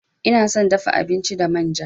Ina son dafa abinci da manja.